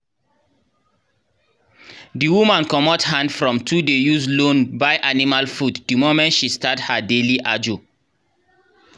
the woman comot hand from to dey use loan buy animal food the moment she start her daily ajo.